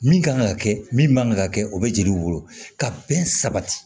Min kan ka kɛ min man kan ka kɛ o bɛ jeliw wolo ka bɛn sabati